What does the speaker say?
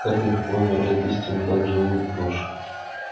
как легко умирает истина как живу ложь